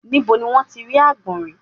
Níbo ni wọ́n ti rí àgbọ̀nrín?